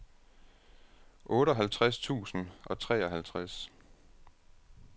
otteoghalvtreds tusind og treoghalvtreds